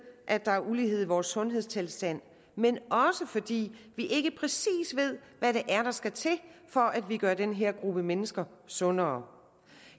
at der er ulighed i vores sundhedstilstand men også fordi vi ikke præcis ved hvad det er der skal til for at vi gør den her gruppe mennesker sundere